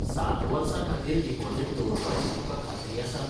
सात वर्सां खातीर डिपॉझिट दवरपाची तुकां खात्री आसा?